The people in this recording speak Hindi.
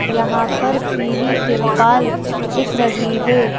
यहां पर पीली तिरपाल दिख रही है।